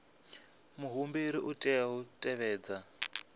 muhumbeli u tea u tevhedza